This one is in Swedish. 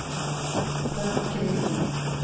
Frank Gren